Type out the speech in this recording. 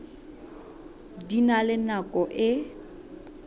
di na le nako e